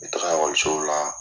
N bɛ taga ekɔlisow la